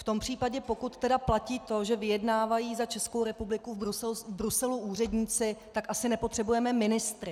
V tom případě, pokud tedy platí to, že vyjednávají za Českou republiku v Bruselu úředníci, tak asi nepotřebujeme ministry.